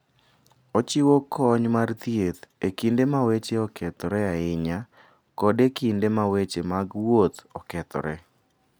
Ochiwo kony mar thieth e kinde ma weche okethore ahinya kod e kinde ma weche mag wuoth okethore.